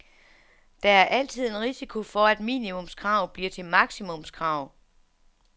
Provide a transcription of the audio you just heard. Der er altid en risiko for, at minimumskrav bliver til maksimumskrav.